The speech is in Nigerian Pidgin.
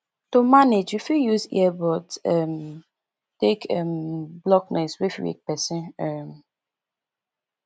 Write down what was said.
to manage we fit use ear buds um take um block noise wey fit wake person um